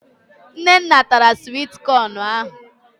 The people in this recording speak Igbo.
Nnenna tara swit kọn ahụ